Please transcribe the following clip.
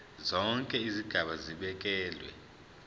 zonke izigaba zibekelwe